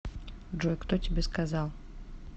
джой кто тебе сказал